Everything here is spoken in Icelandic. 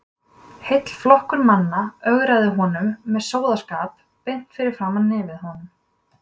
Heill flokkur manna ögraði honum með slóðaskap beint fyrir framan nefið á honum!